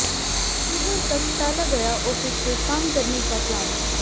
अक्टूबर तक टाला गया ऑफिस से काम करने का प्लान